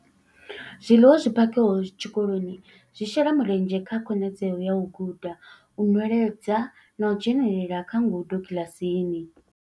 Zwiḽiwa zwi phakhiwaho tshikoloni zwi shela mulenzhe kha khonadzeo ya u guda, u nweledza na u dzhenela kha ngudo kiḽasini.